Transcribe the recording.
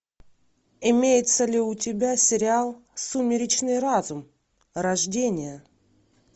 имеется ли у тебя сериал сумеречный разум рождение